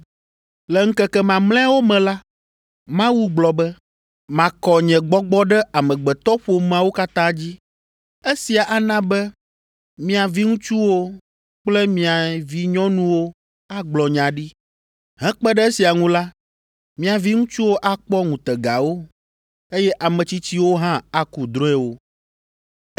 “ ‘Le ŋkeke mamlɛawo me la, Mawu gblɔ be makɔ nye Gbɔgbɔ ɖe amegbetɔƒomeawo katã dzi. Esia ana be mia viŋutsuwo kple mia vinyɔnuwo agblɔ nya ɖi. Hekpe ɖe esia ŋu la, mia viŋutsuwo akpɔ ŋutegawo, eye ame tsitsiwo hã aku drɔ̃ewo.